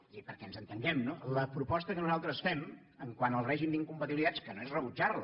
és a dir perquè ens entenguem la proposta que nosaltres fem quant al règim d’incompatibilitats que no és rebutjar la